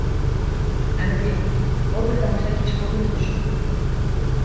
әміре ол бір тамаша кеш болды мен үшін